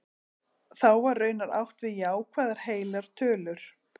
þá var raunar átt við jákvæðar heilar tölur